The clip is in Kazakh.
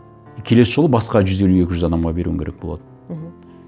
и келесі жолы басқа жүз елу екі жүз адамға беруің керек болады мхм